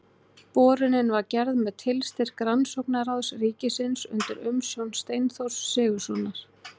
Borunin var gerð með tilstyrk Rannsóknaráðs ríkisins undir umsjón Steinþórs Sigurðssonar.